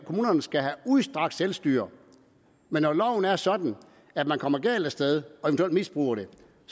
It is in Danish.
kommunerne skal have udstrakt selvstyre men når loven er sådan at man kommer galt af sted og eventuelt misbruger det